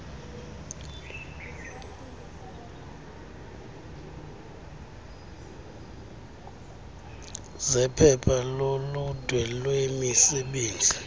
zephepha loludwe lwemisebenzi